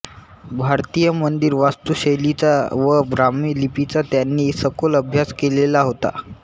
भारतीय मंदिर वास्तुशैलींचा व ब्राह्मी लिपीचा त्यांनी सखोल अभ्यास केलेला होता